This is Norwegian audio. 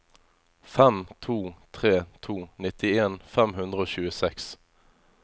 fem to tre to nittien fem hundre og tjueseks